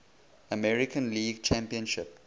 american league championship